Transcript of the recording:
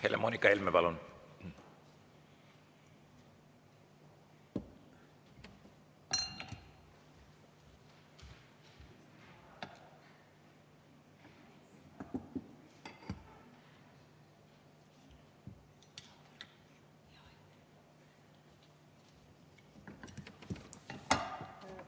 Helle-Moonika Helme, palun!